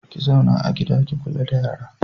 Ki zauna a gida ki kula da yara.